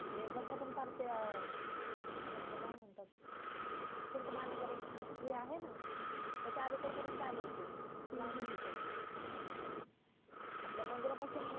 आपल काय म्हणातात ते आहे ना त्याच्या अलीकडे परेन्त आले होते लांब होते खूप आपल्या मंदीरा पासून